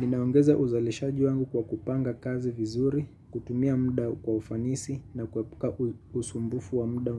Ninaongeza uzalihaji wangu kwa kupanga kazi vizuri. Kutumia mda kwa ufanisi na kuepuka usumbufu wa mda